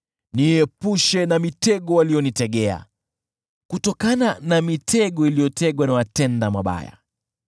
Niepushe na mitego waliyonitegea, kutokana na mitego iliyotegwa na watenda mabaya.